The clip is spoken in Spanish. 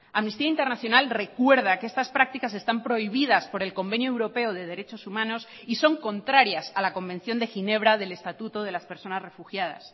amnistía internacional recuerda que estas prácticas están prohibidas por el convenio europeo de derechos humanos y son contrarias a la convención de ginebra del estatuto de las personas refugiadas